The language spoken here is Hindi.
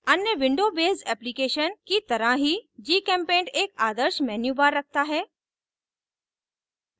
अन्य window बेस्ड एप्लीकेशन की तरह ही gchempaint एक आदर्श menubar रखता है